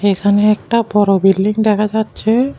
এখানে একটা বড় বিল্ডিং দেখা যাচ্ছে।